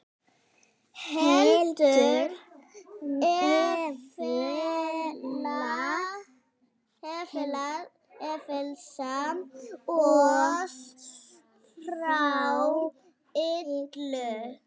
heldur frelsa oss frá illu.